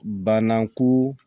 Bananko